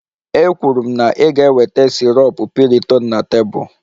Ekwuru m na ị ga-eweta sirop piriton na tebụl